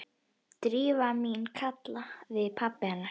Drífa mín- kallaði pabbi hennar.